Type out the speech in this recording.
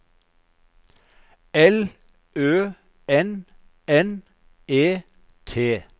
L Ø N N E T